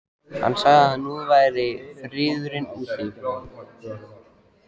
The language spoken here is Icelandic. Hann sagði að nú væri friðurinn úti.